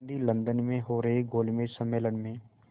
Gandhi London में हो रहे गोलमेज़ सम्मेलन में